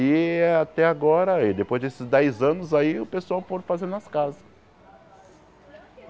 E até agora, aí depois desses dez anos aí, o pessoal pôde fazer nas casas.